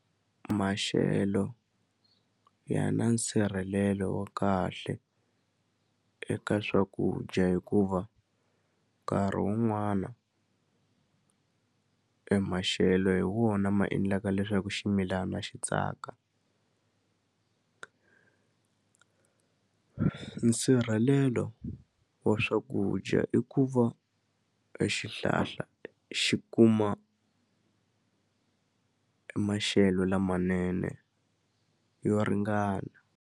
Maxelo ya na nsirhelelo wa kahle eka swakudya hikuva nkarhi wun'wana e maxelo hi wona ma endlaka leswaku ximilana xi tsaka nsirhelelo wa wa swakudya i ku va e xihlahla xi kuma e maxelo lamanene yo ringana.